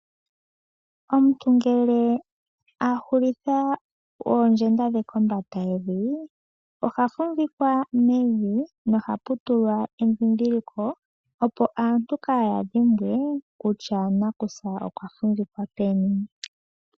Omuntu ngele a hulitha oondjenda dhe kombanda yevi, oha fumvikwa mevi nohapu tulwa endhindhiliko, opo aantu kaaya dhimbwe kutya nakusa okwa fumvikwa peni.